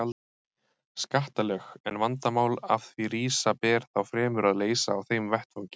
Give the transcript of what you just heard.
skattalög, en vandamál sem af því rísa ber þá fremur að leysa á þeim vettvangi.